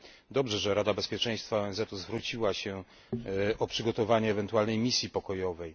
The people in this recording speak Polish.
Dobrze, że Rada Bezpieczeństwa ONZ zwróciła się o przygotowanie ewentualnej misji pokojowej.